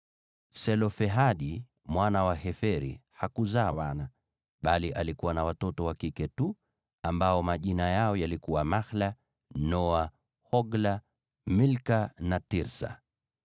(Selofehadi mwana wa Heferi hakuzaa wana, bali alikuwa na watoto wa kike tu, ambao majina yao yalikuwa Mahla, Noa, Hogla, Milka na Tirsa.)